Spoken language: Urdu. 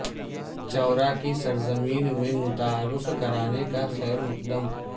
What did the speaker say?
چورا کی سرزمین میں متعارف کرانے کا خیر مقدم